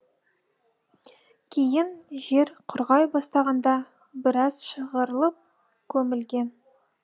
кейін жер құрғай бастағанда біраз шығарылып көмілген